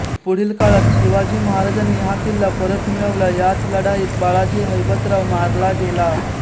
पुढील काळात शिवाजी महाराजांनी हा किल्ला परत मिळवला याच लढाईत बाळाजी हैबतराव मारला गेला